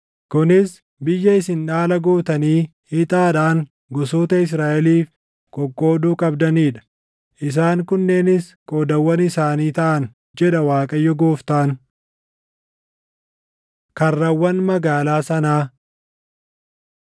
“Kunis biyya isin dhaala gootanii ixaadhaan gosoota Israaʼeliif qoqqooduu qabdanii dha; isaan kunneenis qoodawwan isaanii taʼan” jedha Waaqayyo Gooftaan. Karrawwan Magaalaa Sanaa